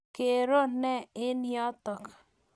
Kero ne eng' yotok?